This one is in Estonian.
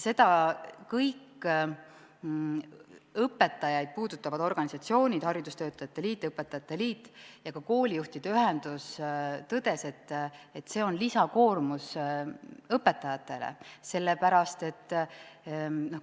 Seda on kõik õpetajaid puudutavad organisatsioonid – haridustöötajate liit, õpetajate liit ja ka koolijuhtide ühendus – tõdenud, et see on lisakoormus õpetajatele.